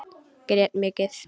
Grét mikið.